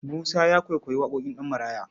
Musa ya kwaikwayi waƙoƙin Ɗanmaraya.